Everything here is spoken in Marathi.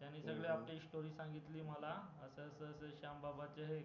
त्यांनी सगळी आपली story सांगितली मला आता श्यामबाबाचं हे